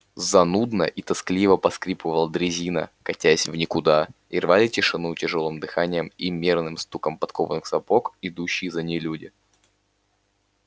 занудно и тоскливо поскрипывала дрезина катясь в никуда и рвали тишину тяжёлым дыханием и мерным стуком подкованных сапог идущие за ней люди